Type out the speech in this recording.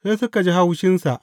Sai suka ji haushinsa.